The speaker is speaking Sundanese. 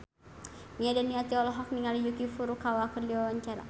Nia Daniati olohok ningali Yuki Furukawa keur diwawancara